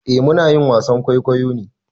Eh muna yin wasan kwaikwayo ne.